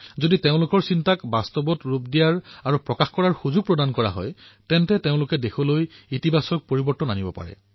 যদি আমি যুৱসমাজৰ চিন্তাধাৰা ধৰাতললৈ নমাই আনো তেওঁলোকক অভিব্যক্ত কৰাৰ বাবে মুক্ত বাতাৱৰণ প্ৰদান কৰোঁ তেতিয়া দেশলৈ ধনাত্মক পৰিৱৰ্তন আহিব পাৰে